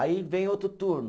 Aí vem outro turno.